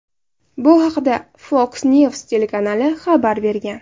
Bu haqda Fox News telekanali xabar bergan .